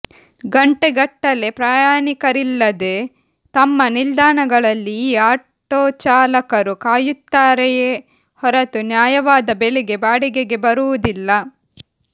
ಗಂಟೆಗಟ್ಟಲೆ ಪ್ರಯಾಣಿಕರಿಲ್ಲದೆ ತಮ್ಮ ನಿಲ್ದಾಣಗಳಲ್ಲಿ ಈ ಆಟೋ ಚಾಲಕರು ಕಾಯುತ್ತಾರೆಯೇ ಹೊರತು ನ್ಯಾಯವಾದ ಬೆಲೆಗೆ ಬಾಡಿಗೆಗೆ ಬರುವುದಿಲ್ಲ